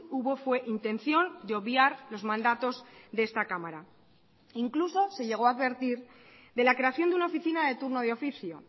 hubo fue intención de obviar los mandatos de esta cámara incluso se llegó a advertir de la creación de una oficina de turno de oficio